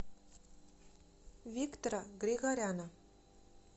виктора григоряна